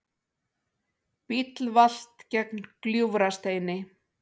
Bíll valt gegnt Gljúfrasteini